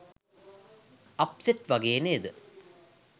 Upset වගේ නේද?